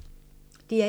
DR1